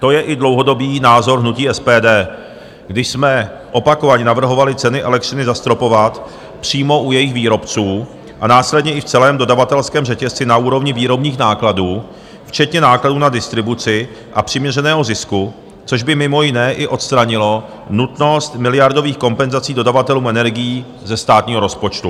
To je i dlouhodobý názor hnutí SPD, když jsme opakovaně navrhovali ceny elektřiny zastropovat přímo u jejich výrobců a následně i v celém dodavatelském řetězci na úrovni výrobních nákladů včetně nákladů na distribuci a přiměřeného zisku, což by mimo jiné i odstranilo nutnost miliardových kompenzací dodavatelů energií ze státního rozpočtu.